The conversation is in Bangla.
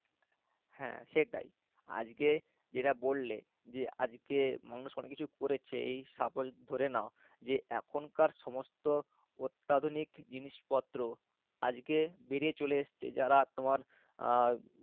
হ্যাঁ সেটাই আজকে যেটা বললে যে আজকে মানুষ অনেক কিছুই করেছে এই suppose ধরে নাও যে এখন কার সমস্ত অত্যাধুনিক জিনিসপত্র আজকে বেরিয়ে চলে এসছে, যারা তোমার আহ